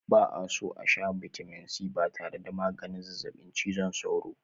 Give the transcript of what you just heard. Ba'a so a shaa bitamin c tare da maganin zazzaɓin cizon sauro.